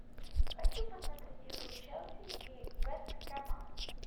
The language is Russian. хочу посмотреть игру челси и вест хэма